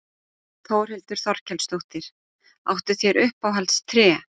Þórhildur Þorkelsdóttir: Áttu þér uppáhalds tré?